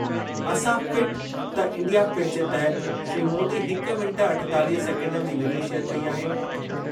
असां फ़िट त India fit जे तहत श्री मोदी हिक मिंट अठेतालीह सैकेंडनि जी वीडियो शेयर कई आहे।